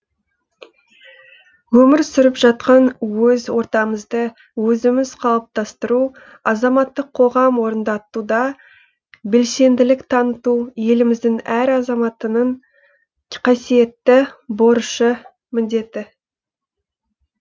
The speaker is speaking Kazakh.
өмір сүріп жатқан өз ортамызды өзіміз қалыптастыру азаматтық қоғам орындатуда белсенділік таныту еліміздің әр азаматтының қасиеттті борышы міндеті